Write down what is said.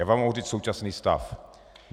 Já vám mohu říci současný stav.